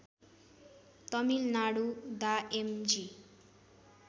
तमिलनाडु डा M G